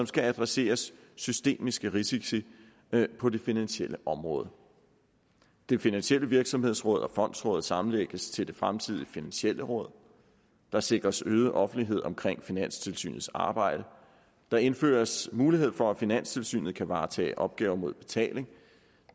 skal adressere systemiske risici på det finansielle område det finansielle virksomhedsråd og fondsrådet sammenlægges til det fremtidige det finansielle råd der sikres øget offentlighed omkring finanstilsynets arbejde der indføres mulighed for at finanstilsynet kan varetage opgaver mod betaling